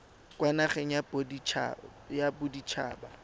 kwa nageng ya bodit haba